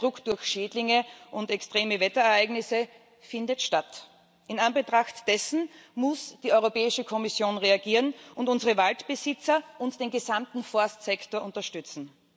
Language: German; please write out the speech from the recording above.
Der Druck durch Schädlinge und extreme Wetterereignisse findet statt. In Anbetracht dessen muss die Europäische Kommission reagieren und unsere Waldbesitzer und den gesamten Forstsektor unterstützen.